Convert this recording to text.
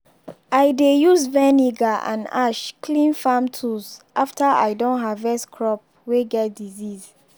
i dey use vinegar and ash clean farm tools after i don harvest crops way get disease.